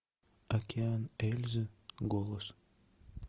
океан эльзы голос